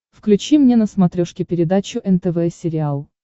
включи мне на смотрешке передачу нтв сериал